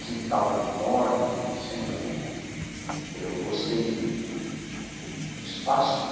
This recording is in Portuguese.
Quintal enorme, eu sempre eu gostei de de de de espaço, né?